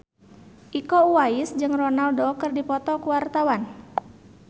Iko Uwais jeung Ronaldo keur dipoto ku wartawan